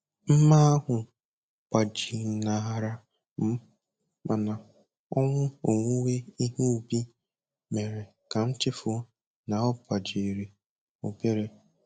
Mma ahụ gbajinahara m, mana ọṅụ owuwe ihe ubi mere ka m chefuo na ọ gbajiri obere.